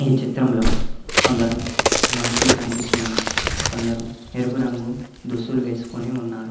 ఈ చిత్రంలో కొందరు మనుషులు కనిపిస్తు ఉన్నారు కొందరు ఎరుపు రంగు దుస్తులు వేసుకొని ఉన్నారు.